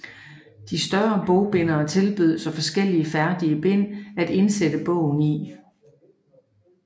De større bogbindere tilbød så forskellige færdige bind at indsætte bogen i